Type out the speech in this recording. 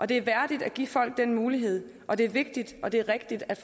det er værdigt at give folk den mulighed og det er vigtigt og det er rigtigt at